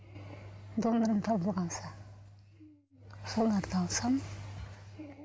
донорым табыла қалса соларды алсам